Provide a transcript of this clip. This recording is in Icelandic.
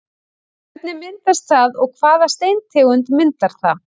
Hvernig myndast það og hvaða steintegund myndar það?